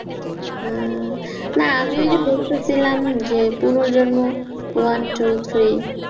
হম না আমি ওই যে বলতেছিলাম পুনর্জন্ম one two three